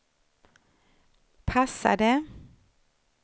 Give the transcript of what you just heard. passade